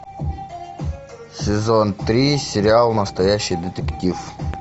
сезон три сериал настоящий детектив